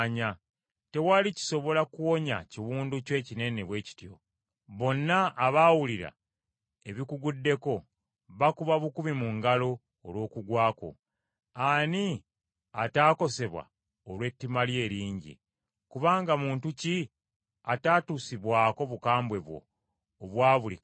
Tewali kisobola kuwonya kiwundu kyo ekinene bwe kityo. Bonna abawulira ebikuguddeko bakuba bukubi mu ngalo olw’okugwa kwo. Ani ataakosebwa olw’ettima lyo eringi? Kubanga muntu ki ataatuusibwako bukambwe bwo obwa buli kakedde?